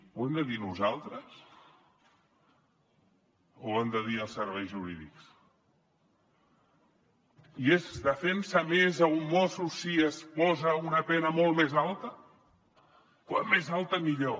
ho hem de dir nosaltres o ho han de dir els serveis jurídics i es defensa més a un mosso si es posa una pena molt més alta com més alta millor